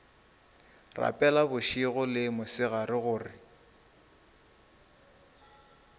rapela bošego le mosegare gore